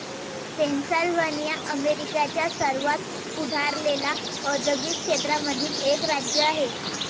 Pennsylvania अमेरिकेच्या सर्वात पुढारलेल्या औद्योगिक क्षेत्रामधील एक राज्य आहे.